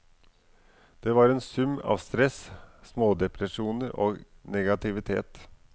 Det var en sum av stress, smådepresjoner og negativitet.